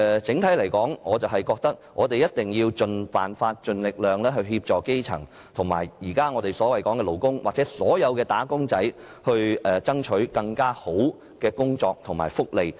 整體而言，我認為一定要設法盡力協助基層，以及為我們的勞工和"打工仔"爭取更好的工作及福利。